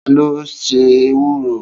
Ta ló se ewúro?